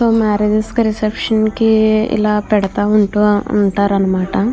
Marriage కి reception కి ఇలా పెడతా ఉంటూ ఉంటారు అన్నమాట.